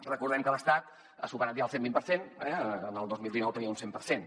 recordem que l’estat ha superat ja el cent vint per cent el dos mil dinou tenia un cent per cent